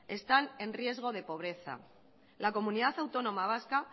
están en riesgo de pobreza la comunidad autónoma vasca